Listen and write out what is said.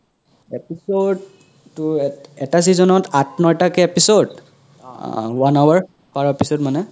episode তো এত এটা season ত আথ নতা কে episode অহ one hour per episode মানে